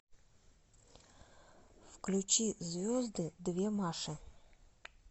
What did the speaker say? включи звезды две маши